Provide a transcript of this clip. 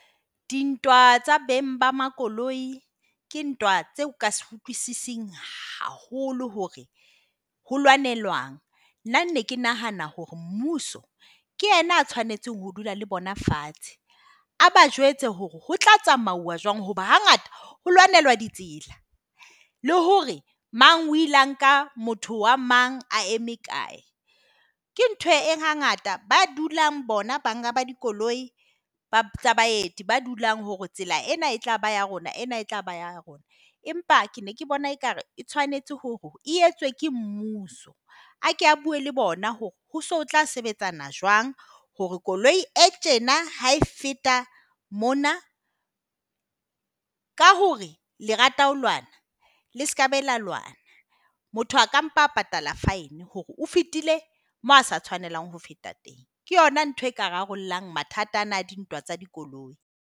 Dintwa tsa beng ba makoloi ke ntwa tseo o ka se utlwisising haholo hore ho lwanelwang. Nna ne ke nahana hore mmuso ke yena a tshwanetseng ho dula le bona fatshe. A ba jwetse hore ho tla tsamauwa jwang hoba hangata ho lwanelwa ditsela, le hore mang o ile a ka motho wa mang a eme kae. Ke ntho e hangata ba dulang bona banga ba dikoloi tsa baeti ba dulang hore tsela ena e tlaba ya rona ena e tlaba ya rona. Empa ke ne ke bona ekare e tshwanetse hore e etswe ke mmuso. A ke a bue le bona hore ho so tla sebetsana jwang hore koloi e tjena ha e feta mona ka hore le rata ho lwana le sekabe la lwana. Motho a ka mpa a patala fine hore o fitile moo a sa tshwanelang ho feta teng. Ke yona ntho e ka rarollang mathata ana a dintwa tsa dikoloi.